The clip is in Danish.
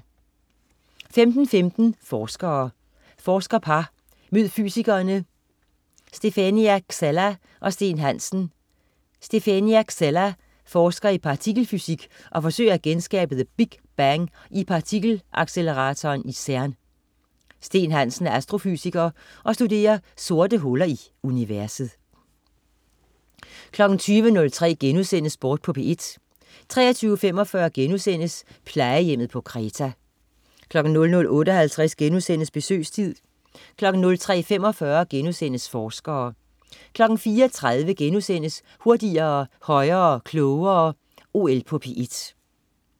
15.15 Forskere. Forskerpar, mød fysikerne Stefenia Xella og Steen Hansen. Stefenia Xella forsker i partikelfysik og forsøger at genskabe The Big Bang i partikel-acceleratoren i CERN. Steen Hansen er astrofysiker og studerer sorte huller i universet 20.03 Sport på P1* 23.45 Plejehjemmet på Kreta* 00.58 Besøgstid* 03.45 Forskere* 04.30 Hurtigere, højere, klogere. OL på P1*